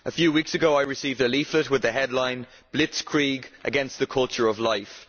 A few weeks ago I received a leaflet with the headline Blitzkrieg against the culture of life'.